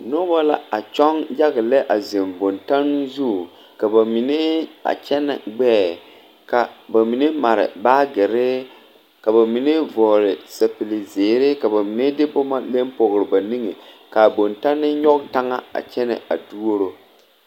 Noba la a kyɔŋ yaga lɛ a zeŋ bontanne zu ka ba mine a kyɛnɛ gbɛɛ ka ba minw mare baagere ka ba mine vɔgle sapigizeere ka ba mine de boma le pɔge ba niŋe k,a bontanne nyɔge taŋa kyɛ a duoro.